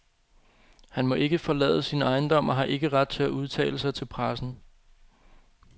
Han må ikke forlade sin ejendom og har ikke ret til at udtale sig til pressen.